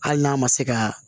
Hali n'a ma se ka